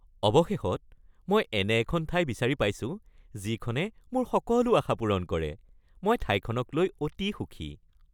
অৱশেষত মই এনে এখন ঠাই বিচাৰি পাইছো যিখনে মোৰ সকলো আশা পূৰণ কৰে, মই ঠাইখনক লৈ অতি সুখী।